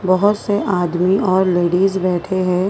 बहुत से आदमी और लेडीज बैठे हैं।